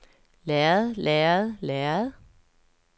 lærred lærred lærred